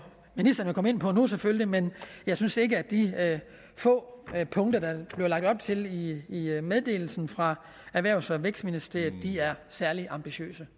ministeren komme ind på nu selvfølgelig men jeg synes ikke at de få punkter der blev lagt op til i meddelelsen fra erhvervs og vækstministeriet er særlig ambitiøse